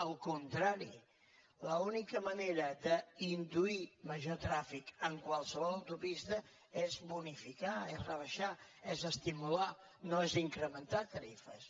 al contrari l’única manera d’induir major trànsit en qualsevol autopista és bonifi·car és rebaixar és estimular no és incrementar tarifes